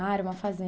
Ah, era uma fazenda.